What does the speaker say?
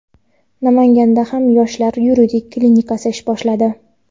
Namanganda ham "Yoshlar yuridik klinikasi" ish boshladi!.